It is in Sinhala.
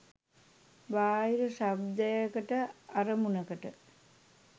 බාහිර ශබ්දයකට අරමුණකට